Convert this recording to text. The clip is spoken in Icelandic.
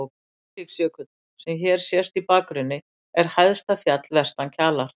Eiríksjökull, sem hér sést í bakgrunni, er hæsta fjall vestan Kjalar.